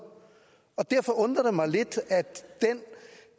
og derfor undrer det mig lidt